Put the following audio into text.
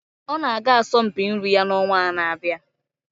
ọ na-aga asọmpi nri ya n'ọnwa na-abịa